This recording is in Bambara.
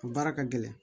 A baara ka gɛlɛn